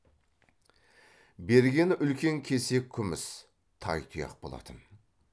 бергені үлкен кесек күміс тайтұяқ болатын